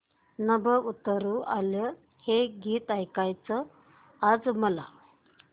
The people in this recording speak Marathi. नभं उतरू आलं हे गीत ऐकायचंय आज मला